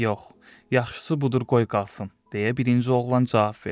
Yox, yaxşısı budur, qoy qalsın, deyə birinci oğlan cavab verdi.